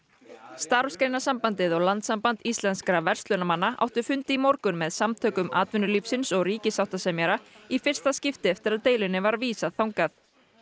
Starfsgreinasambandið og Landssamband íslenskra verslunarmanna áttu fund í morgun með Samtökum atvinnulífsins og ríkissáttasemjara í fyrsta skipti eftir að deilunni var vísað þangað